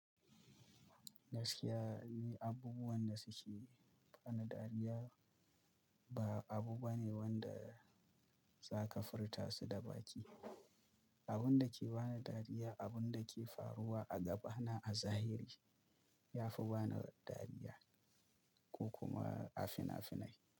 Gaskiya, ni abubuwan da suke bani dariya ba abu bane wanda zaka furta su da baki. Abun da ke bani dariya, abun da ke faruwa a gaba na a zahiri, yafi bani dariya ko kuma a finafinai.